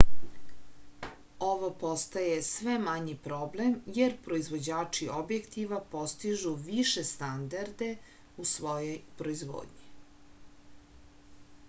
ovo postaje sve manji problem jer proivođači objektiva postižu više standarde u svojoj proizvodnji